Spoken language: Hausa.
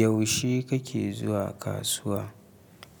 Yaushe kake zuwa kasuwa?